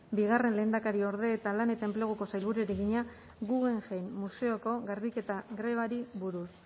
bigarren lehendakariorde eta lan eta enpleguko sailburuari egina guggenheim museoko garbiketa grebari buruz